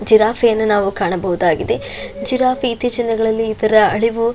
giraffe ಯನ್ನು ಕಾಣಬಹುದಾಗಿದೆ giraffe ಇತೀಚಿನ ದಿನಗಳಲ್ಲಿ ಇತರ ಅಳಿವು --